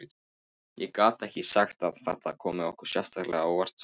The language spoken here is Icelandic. Ég get ekki sagt að þetta komi okkur sérstaklega á óvart.